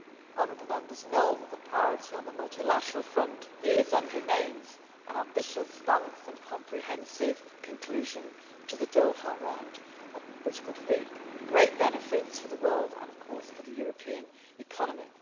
Honourable Members know that the priority on the multilateral front is, and remains, an ambitious, balanced and comprehensive conclusion to the Doha Round, which would reap great benefits for the world and, of course, for the European economy.